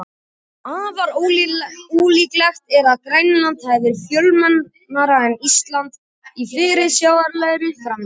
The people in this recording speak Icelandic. Afar ólíklegt er að Grænland verði fjölmennara en Ísland í fyrirsjáanlegri framtíð.